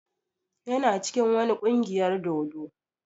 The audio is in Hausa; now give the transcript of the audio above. Yana cikin wani kungiyar dodo.